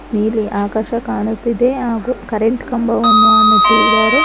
ನೀಲಿ ಆಕಾಶ ಕಾಣುತ್ತಿದೆ ಹಾಗು ಕರೆಂಟ್ ಕಂಬವನ್ನು ಅ ನೆಟ್ಟಿದ್ದಾರೆ.